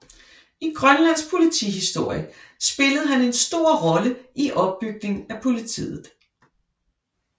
I Grønlands politihistorie spillede han en stor rolle i opbygningen af politiet